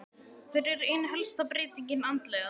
Hver er ein helsta breytingin andlega?